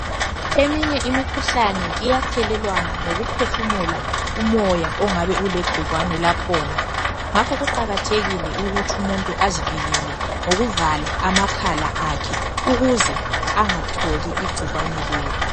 Eminye imikhuhlane iyathelelwana ngokuphefumula umoya ongabe ulegcikwane lakhona ngakho kuqakathekile ukuthi umuntu azivikele ngokuvala amakhala akhe ukuze angalitholi igcikwane lelo.